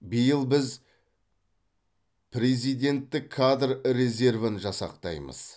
биыл біз президенттік кадр резервін жасақтаймыз